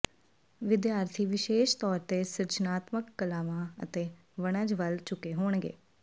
ਵਿਦਿਆਰਥੀ ਵਿਸ਼ੇਸ਼ ਤੌਰ ਤੇ ਸਿਰਜਣਾਤਮਕ ਕਲਾਵਾਂ ਅਤੇ ਵਣਜ ਵੱਲ ਝੁਕੇ ਹੋਣਗੇ